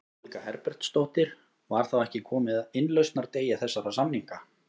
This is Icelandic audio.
Guðný Helga Herbertsdóttir: Var þá ekki komið að innlausnardegi þessara samninga?